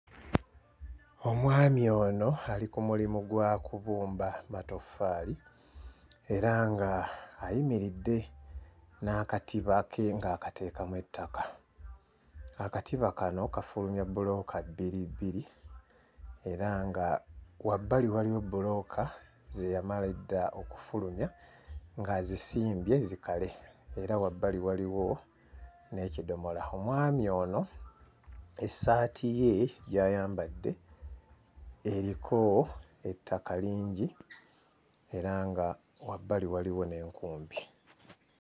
Omwami ono ali ku mulimu gwa kubumba matoffaali era nga ayimiridde n'akatiba ke ng'akateekamu ettaka. Akatiba kano kafulumya bbulooka bbiri bbiri era nga wabbali waliwo bbulooka ze yamala edda okufulumya ng'azisimbye zikale era wabbali waliwo n'ekidomola. Omwami ono essaati ye gy'ayambadde eriko ettaka lingi era nga wabbali waliwo n'enkumbi.